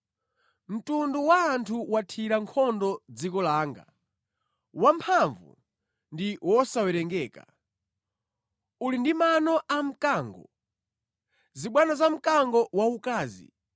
Mtundu wa anthu wathira nkhondo dziko langa, wamphamvu ndi wosawerengeka; uli ndi mano a mkango, zibwano za mkango waukazi.